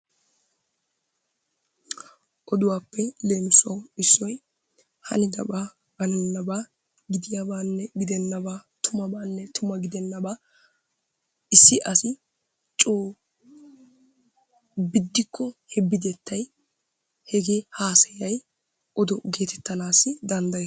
Oduwaappe issoy leemisuwawu hanidabaa hannennabaa, gidiyaabaanne gidennabaatumaabaanne tumma gidenaabaa issi asi coo biddikko he bidettay hegee hasayay odo geetettanassi dandayees.